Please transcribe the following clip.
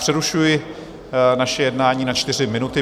Přerušuji naše jednání na čtyři minuty.